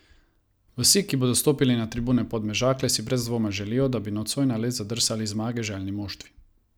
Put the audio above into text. Vsi, ki bodo stopili na tribune Podmežakle, si brez dvoma želijo, da bi nocoj na led zadrsali zmage željni moštvi.